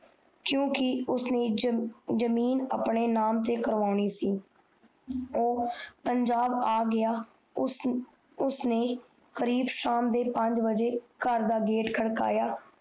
ਕਿਉਕਿ ਉਸਨੇ ਜਮੀਨ ਆਪਣੇ ਨਾਮ ਤੇ ਕਰੋਨੀ ਸੀ ਓ ਪੰਜਾਬ ਆ ਗਯਾ ਉਸਨੇ ਕਰੀਬ ਸ਼ਯਾਮ ਦੇ ਪੰਜ ਬਾਜੇ ਕਾਰ ਦਾ ਗੇਟ ਖ਼ਤਕਾਯਾ